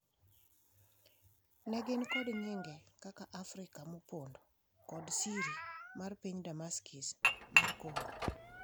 Ne gin kod nyinge kaka ‘Afrika Mopondo’ kod siri mar Piny Demokrasia mar Kongo.